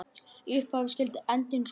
Í upphafi skyldi endinn skoða.